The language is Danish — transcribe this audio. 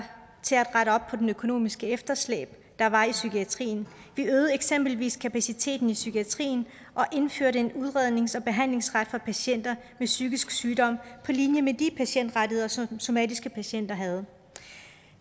rette op på det økonomiske efterslæb der var i psykiatrien vi øgede eksempelvis kapaciteten i psykiatrien og indførte en udrednings og behandlingsret for patienter med psykisk sygdom på linje med de patientrettigheder som somatiske patienter havde